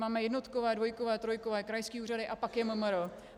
Máme jednotkové, dvojkové, trojkové, krajské úřady a pak je MMR.